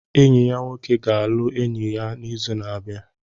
Enyi ya nwoke ga-alụ enyi ya n'izu na-abịa.